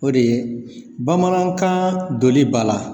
O de ye Bamanankan doli ba la.